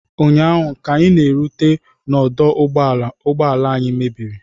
Ụnyaahụ, ka anyị rutere n'ọdụ ụgbọ ala ụgbọ ala anyị mebiri